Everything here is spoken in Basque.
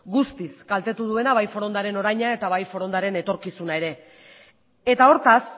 guztiz kaltetu duena bai forondaren oraina eta bai forondaren etorkizuna ere eta hortaz